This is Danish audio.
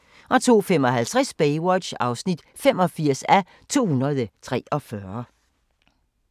02:55: Baywatch (85:243)